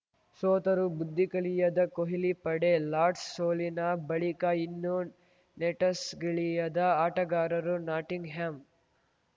ಸೋತರೂ ಬುದ್ಧಿ ಕಲಿಯದ ಕೊಹ್ಲಿ ಪಡೆ ಲಾರ್ಡ್ಸ್ ಸೋಲಿನ ಬಳಿಕ ಇನ್ನೂ ನೆಟಸ್ ಗಿಳಿಯದ ಆಟಗಾರರು ನಾಟಿಂಗ್‌ಹ್ಯಾಮ್‌